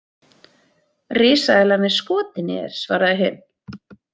Risaeðlan er skotin í þér, svaraði hin.